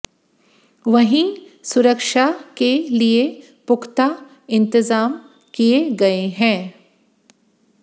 वहीं सुरक्षा के लिए पुख्ता इंतजाम किए गए हैं